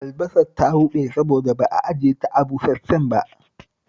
Albasar ta lalace saboda ba ajiye ta a busash-shen ba